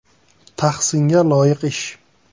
Tahsinga loyiq ish.